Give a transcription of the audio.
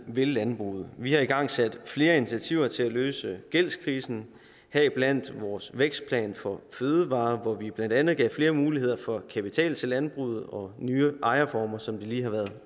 vil landbruget vi har igangsat flere initiativer til at løse gældskrisen heriblandt vores vækstplan for fødevarer hvor vi blandt andet gav flere muligheder for kapital til landbruget og nye ejerformer som vi lige har